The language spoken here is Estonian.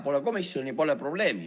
Pole komisjoni, pole probleemi.